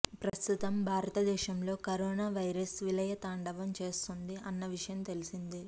ప్రస్తుతం భారత దేశంలో కరోనా వైరస్ విలయ తాండవం చేస్తుంది అన్న విషయం తెలిసిందే